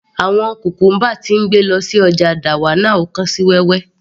Àwọn cucumber tí ń gbé lọ sí ọjà dawanau kán sí wẹ́wẹ́